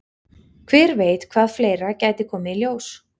Hver veit hvað fleira gæti komið í ljós?